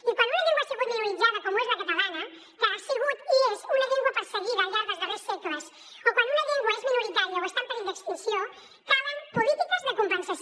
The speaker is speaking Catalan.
i quan una llengua ha sigut minoritzada com ho és la catalana que ha sigut i és una llengua perseguida al llarg dels darrers segles o quan una llengua és minoritària o està en perill d’extinció calen polítiques de compensació